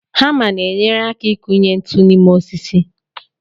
Hama na-enyere aka ịkụnye ntụ n'ime osisi